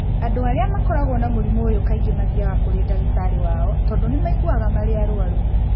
Andũ arĩa mkoragwo na mũrimũ ũyũ kaingĩ mathiaga kũrĩ ndagĩtarĩ wao tondũ nĩ maiguaga marĩ arwaru.